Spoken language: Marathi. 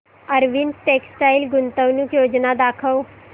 अरविंद टेक्स्टाइल गुंतवणूक योजना दाखव